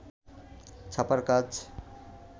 ছাপার কাজ